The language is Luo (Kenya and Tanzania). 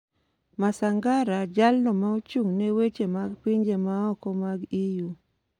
Masangara jalno ma ochung' ne weche mag pinje ma oko mag EU